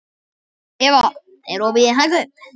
Eva, er opið í Hagkaup?